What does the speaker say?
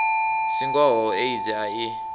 si ngoho aids a i